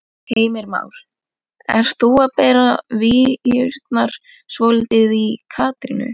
Heimir Már: Ert þú að bera víurnar svolítið í Katrínu?